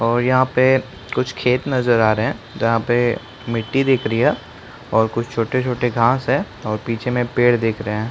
और यहाँ पे कुछ खेत नज़र आ रहे है जहाँ पे मिट्टी दिख रही है और कुछ छोटे-छोटे घाँस है और पीछे में पेड़ दिख रहे है।